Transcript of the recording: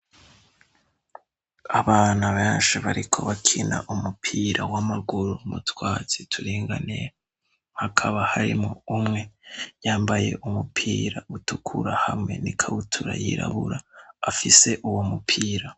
Abana benshi bariko bakina umupira w'amaguru m'utwatsi turinganiye. Hakaba harimwo umwe yambaye umupira utukura, hamwe n'ikabutura yirabura, afise uwo mupira.